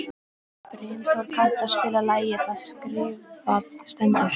Brimþór, kanntu að spila lagið „Það skrifað stendur“?